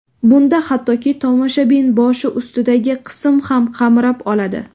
Bunda hattoki tomoshabin boshi ustidagi qism ham qamrab oladi.